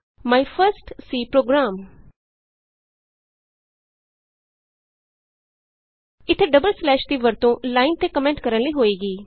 ਮਾਈ first C program ਇਥੇ double slash ਦੀ ਵਰਤੋਂ ਲਾਈਨ ਤੇ ਕੋਮੈਂਟ ਕਰਨ ਲਈ ਹੋਏਗੀ